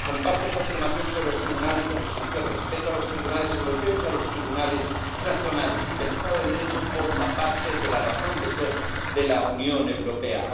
Comparto su afirmación sobre los tribunales de justicia, el respeto a los tribunales europeos y a los tribunales nacionales, y que el Estado de Derecho forma parte de la razón de ser de la Unión Europea.